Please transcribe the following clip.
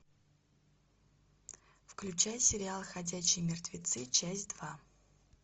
включай сериал ходячие мертвецы часть два